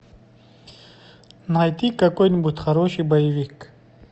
найди какой нибудь хороший боевик